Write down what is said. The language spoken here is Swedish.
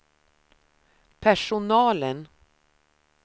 personalen